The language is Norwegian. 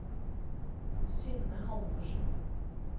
Synne Halvorsen